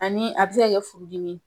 Ani a bɛ se ka kɛ furudimi ye .